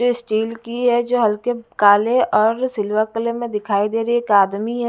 जो स्टील की है जो हल्के काले और सिल्वर कलर में दिखाई दे रही है एक आदमी है।